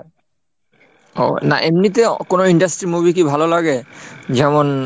ও না এমনিতে কোনো industry movie কি ভালো লাগে? যেমন,